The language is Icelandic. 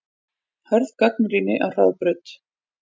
Hörð gagnrýni á Hraðbraut